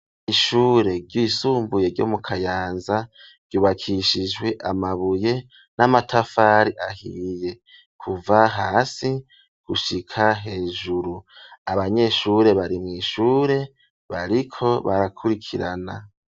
ishure ry'isumbuye ryo mu kayanza ryubakishijwe amabuye n'amatafari ahiye kuva hasi gushika hejuru abanyeshure bari mw, ishure bariko barakurikirana.